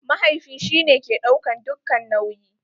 Mahaifi shi ne ke ɗaukan dukka nauyi.